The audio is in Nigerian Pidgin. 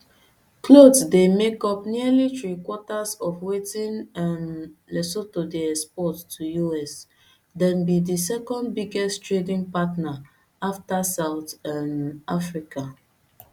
clothes dey make up nearly threequarters of wetin um lesotho dey export to us dem bi di second biggest trading partner afta south um africa